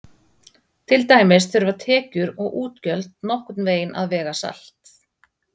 til dæmis þurfa tekjur og útgjöld nokkurn veginn að vega salt